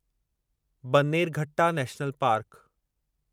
Bannerghatta national park